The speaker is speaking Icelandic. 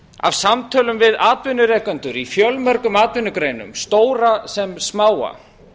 af samtölum við atvinnurekendur í fjölmörgum atvinnugreinum stóra sem smáa